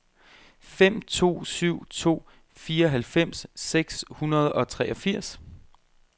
fem to syv to fireoghalvfems seks hundrede og treogfirs